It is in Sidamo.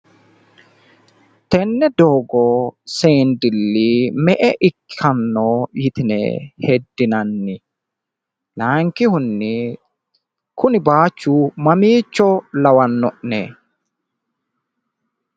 Tenne doogo seendilli me'e ikkanno yitine heddinanni? Laayinkihunni kuni baayiichiu mamiicho lawaanno'ne?